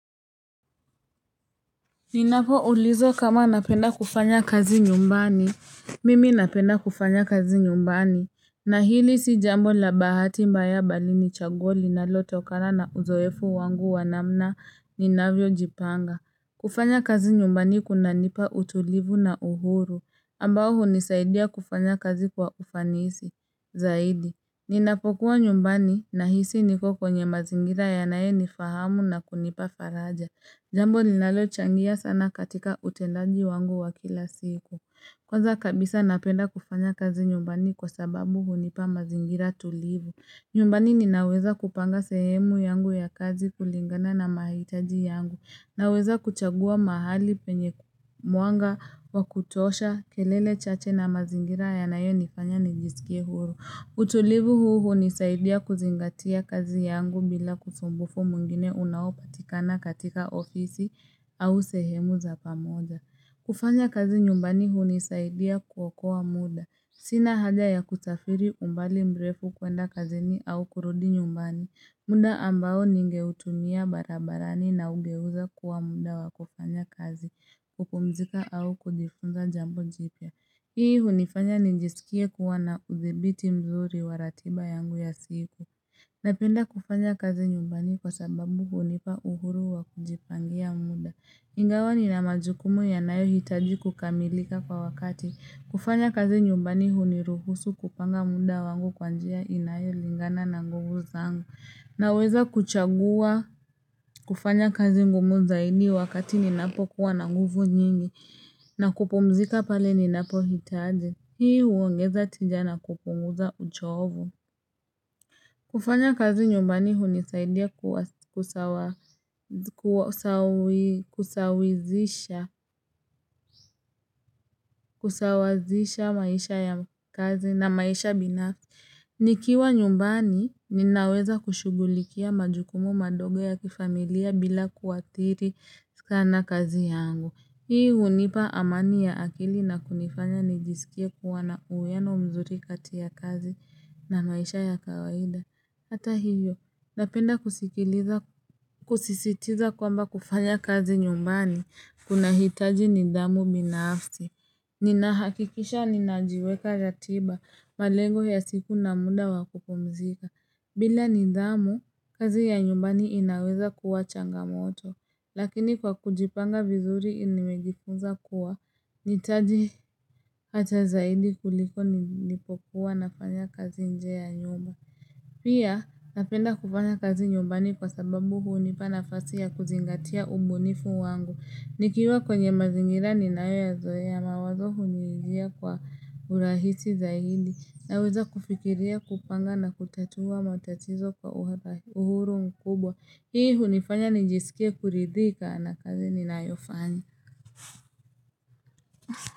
Ninapo ulizwa kama napenda kufanya kazi nyumbani Mimi napenda kufanya kazi nyumbani na hili si jambo la bahati mbaya bali ni chaguo linalo tokana na uzoefu wangu wanamna ninavyo jipanga kufanya kazi nyumbani kuna nipa utulivu na uhuru ambao hunisaidia kufanya kazi kwa ufanisi zaidi Ninapo kuwa nyumbani nahisi niko kwenye mazingira yanayo nifahamu na kunipa faraja Jambo linalo changia sana katika utendaji wangu wa kila siku Kwanza kabisa napenda kufanya kazi nyumbani kwasababu hunipa mazingira tulivu nyumbani ninaweza kupanga sehemu yangu ya kazi kulingana na mahitaji yangu Naweza kuchagua mahali penye mwanga wa kutosha kelele chache na mazingira yanayo nifanya nijisikie huru utulivu huu hunisaidia kuzingatia kazi yangu bila usumbufu mwingine unaopatikana katika ofisi au sehemu za pamoja kufanya kazi nyumbani hunisaidia kuokoa wa muda Sina haja ya kusafiri umbali mbrefu kwenda kazini au kurudi nyumbani munda ambao ningeutumia barabarani na ugeuza kuwa muda wa kufanya kazi kupumzika au kujifunza jambo jipya Hii hunifanya ninjisikie kuwana udhibiti mzuri waratiba yangu ya siku Napenda kufanya kazi nyumbani kwa sababu hunipa uhuru wa kujipangia muda Ingawa nina majukumu yanayo hitaji kukamilika kwa wakati kufanya kazi nyumbani huniruhusu kupanga muda wangu kwanjia inayo lingana na nguvu zangu Naweza kuchagua kufanya kazi ngumu zaidi wakati ninapo kuwa na nguvu nyingi na kupumzika pale ninapo hitaji Hii huongeza tija na kupunguza uchovu kufanya kazi nyumbani hunisaidia kusawazisha maisha ya kazi na maisha binafsi Nikiwa nyumbani ninaweza kushugulikia majukumu madogo ya kifamilia bila kuathiri sana kazi yangu Hii hunipa amani ya akili na kunifanya nijisikia kuwana uwiano mzuri kati ya kazi na maisha ya kawaida Hata hivyo napenda kusisitiza kwamba kufanya kazi nyumbani kunahitaji nidhamu binafsi Ninahakikisha ninajiwekea ratiba malengo ya siku na muda wakupumzika bila nidhamu kazi ya nyumbani inaweza kuwa changamoto Lakini kwa kujipanga vizuri nimejifunza kuwa ninajitahidi hata zaidi kuliko nilipokuwa nafanya kazi nje ya nyumba Pia napenda kufanya kazi nyumbani kwa sababu hunipa nafasi ya kuzingatia ubunifu wangu Nikiwa kwenye mazingira ninayo ya zoe mawazo hunijia kwa urahisi zaidi Naweza kufikiria kupanga na kutatua matatizo kwa uhuru mkubwa Hii hunifanya nijisikie kuridhika na kazi ninayofanya.